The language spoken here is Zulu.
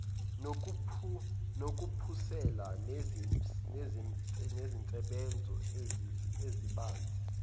ngokuphusile nezinsebenzo ezibanzi